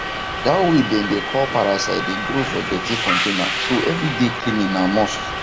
that way them dey call parasite dey grow for dirti container so every day cleaning na must